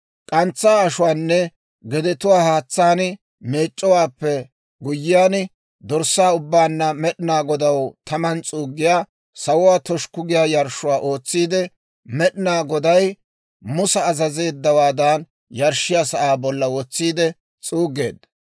K'antsaa ashuwaanne gedetuwaa haatsaan meec'c'owaappe guyyiyaan, dorssaa ubbaanna Med'inaa Godaw taman s'uuggiyaa, sawuwaa toshukku giyaa yarshshuwaa ootsiide, Med'inaa Goday Musa azazeeddawaadan yarshshiyaa sa'aa bollan wotsiide s'uuggeedda.